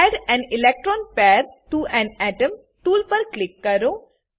add A N electron pair T O A N atom tool પર click કરો